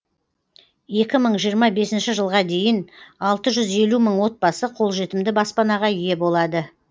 екі мың жиырма бесінші жылға дейін алты жүз елу мың отбасы қолжетімді баспанаға ие болады